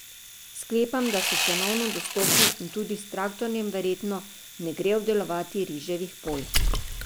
Sklepam, da so cenovno dostopni in tudi s traktorjem verjetno ne gre obdelovati riževih polj.